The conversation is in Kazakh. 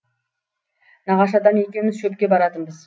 нағашы атам екеуміз шөпке баратынбыз